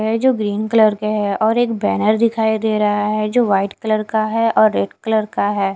है जो green colour के हैं और एक बैनर दिखाई दे रहा है जो वाइट कलर का है और रेड कलर का है।